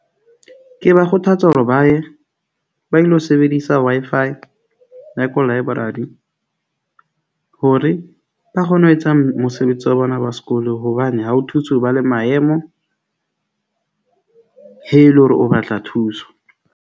Ke ba kgothatsa hore ba ye ba ilo sebedisa Wi-Fi ya koloi e hore ba kgone ho etsang mosebetsi wa bona wa sekolo. Hobane ha ho thuse, o ba le maemo he e le hore o batla thuso.